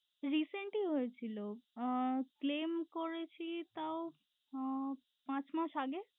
Recent ই হয়েছিল আহ claim করেছি তাও উহ পাঁচ মাস আগে।